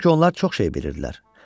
Çünki onlar çox şey bilirdilər.